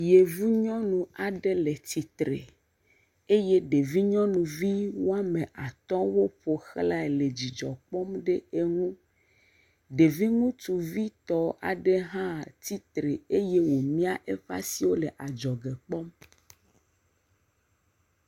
Yevu nyɔnu aɖe le tsitre eye ɖevi nyɔnuvi woame atɔ̃wo ƒoxlae le dzidzɔ kpɔm ɖe eŋu, ɖevi ŋutsuvitɔ aɖe hã tsitre eye wòmia eƒe asiwo le adzɔge kpɔm.